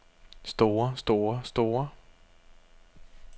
store store store